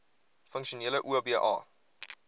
funksionele oba